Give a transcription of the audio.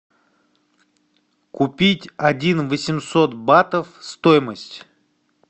купить один восемьсот батов стоимость